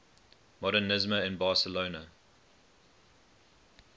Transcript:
modernisme in barcelona